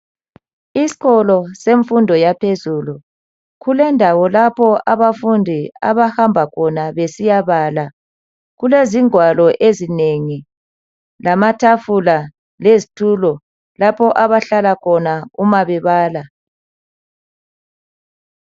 Isikolo semfundo yaphezulu kulendawo lapho abafundi abahamba khona besiya bala kulezingwalo ezinengi lamatafula lezitulo lapho abahlala khona uma bebala.